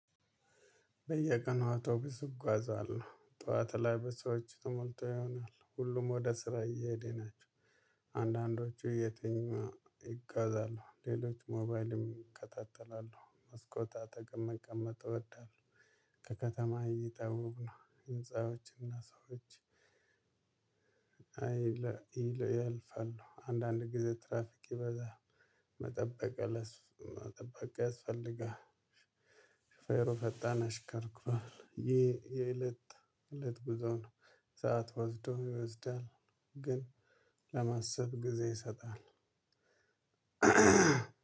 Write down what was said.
በየቀኑ አውቶቢስ እጓዛለሁ ጠዋት ላይ በሰዎች ተሞልቶ ይሆናል ሁሉም ወደ ስራ እየሄደ ናቸው። አንዳንዶቹ እየትኙ ይጓዛሉ ሌሎች ሞባይልን ይከታተላሉ መስኮት አጠገብ መቀመጥ እወዳለሁ። ከከተማ እይታ ውብ ነው ህንፃዎችና ሰዎች። ያልፋሉ አንዳንድ ጊዜ ትራፊክ ይበዛል መጠበቅ ያስፈልጋል። ሹፌሩ በጣን ያሽከረክራል ይሄ የእለት እለት ጉዞ ነው። ሰዓት ወስዶ ይወስዳል። ግን ለማሰብ ጊዜ ይሰጣል።